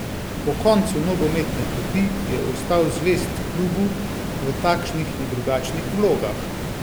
Po koncu nogometne poti je ostal zvest klubu v takšnih in drugačnih vlogah.